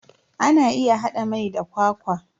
Ana iya hada mai da kwakwa.